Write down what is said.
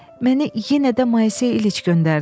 Məni yenə də Maysey İliç göndərdi."